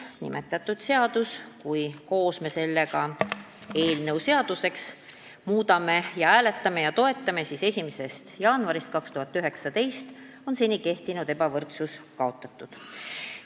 Kui me koos eelnõu seaduseks muudame, seda hääletame ja toetame, siis 1. jaanuarist 2019 on seni kehtinud ebavõrdsus kaotatud.